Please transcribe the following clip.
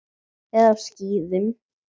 Eða á skíðum.